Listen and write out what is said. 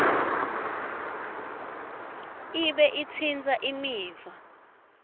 ibe itsintsa imiva